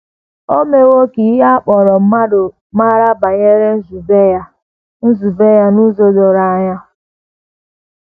O mewo ka ihe a kpọrọ mmadụ mara banyere nzube ya nzube ya n’ụzọ doro anya.